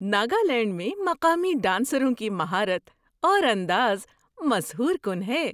ناگالینڈ میں مقامی ڈانسروں کی مہارت اور انداز مسحور کن ہے۔